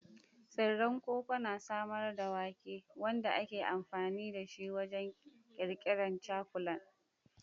Tsiren koko na samar da wake, wanda ake amfani da shi wajen ƙirƙirar cakulan.